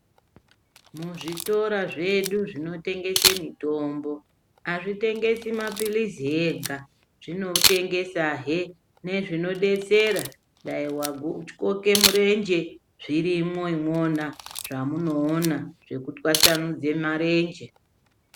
Muzvitora zvedu zvino tengesa mitombo azvi tengesi mapilisi ega zvino tengesa he nezvino betsera dai watyoke murenje zvirimo imwona zvamuno ona zveku twasanure ma renje.